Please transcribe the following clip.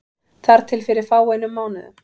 Þar til fyrir fáeinum mánuðum.